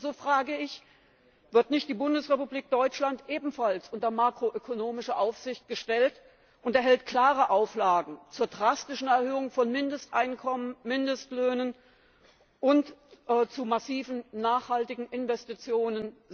Warum, so frage ich, wird nicht die Bundesrepublik Deutschland ebenfalls unter makroökonomische Aufsicht gestellt und erhält selbst klare Auflagen zur drastischen Erhöhung von Mindesteinkommen, Mindestlöhnen und zu massiven nachhaltigen Investitionen?